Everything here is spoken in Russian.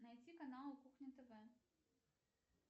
найти канал кухня тв